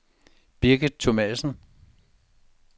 Birgit Thomassen